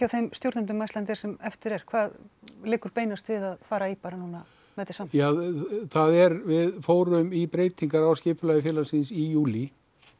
þeim stjórnendum hjá Icelandair sem eftir eru hvað liggur beinast við að fara í núna það er við fórum í breytingar á skipulagi félagsins í júlí